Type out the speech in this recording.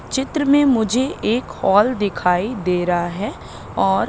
चित्र में मुझे एक हॉल दिखाई दे रहा है और--